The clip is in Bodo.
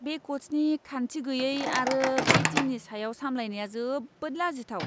बे क'चनि खान्थि गैयै आरो बे टीमनि सायाव सामलायनाया जोबोद लाजिथाव!